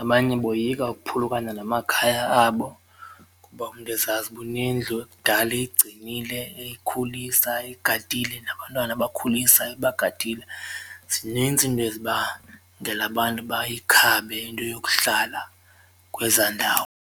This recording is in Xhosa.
abanye boyika ukuphulukana namakhaya abo kuba umntu ezazi uba unendlu ekudala eyigcinile eyikhulisa eyigadile nabantwana ebakhulisa ebagadile. Zinintsi iinto ezibangela abantu bayikhabe into yokuhlala kwezaa ndawo.